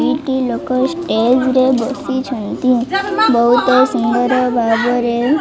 ଦି ଟି ଲୋକ ଷ୍ଟେଜ ରେ ବସିଛନ୍ତି ବହୁତ ସୁନ୍ଦର ଭାବରେ --